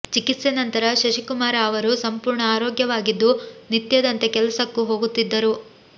ಚಿಕಿತ್ಸೆ ನಂತರ ಶಶಿಕುಮಾರ ಅವರು ಸಂಪೂರ್ಣ ಆರೋಗ್ಯವಾಗಿದ್ದು ನಿತ್ಯದಂತೆ ಕೆಲಸಕ್ಕೂ ಹೋಗುತ್ತಿದ್ದರು